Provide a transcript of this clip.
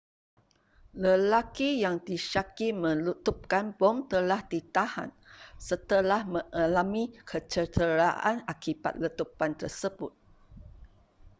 lelaki yang disyaki meletupkan bom telah ditahan setelah mengalami kecederaan akibat letupan tersebut